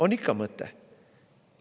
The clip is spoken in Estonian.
On ikka mõte!